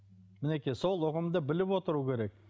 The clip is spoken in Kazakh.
мінекей сол ұғымды біліп отыру керек